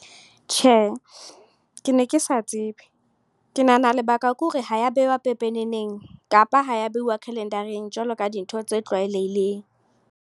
Tjhe, ke ne ke sa tsebe. Ke nahana lebaka ke hore ha ya bewa pepeneneng. Kapa ha ya behuwa calendar-eng jwalo ka dintho tse tlwaelehileng.